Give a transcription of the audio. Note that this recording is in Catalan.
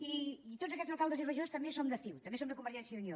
i tots aquests alcaldes i regidors també som de ciu també som de convergència i unió